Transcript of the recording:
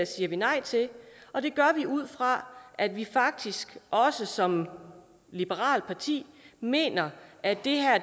siger vi nej til og det gør vi ud fra at vi faktisk også som et liberalt parti mener at